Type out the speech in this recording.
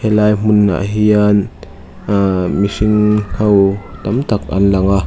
helai hmun ah hian aah mihring ho tam tak an lang a.